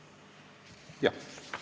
Jah.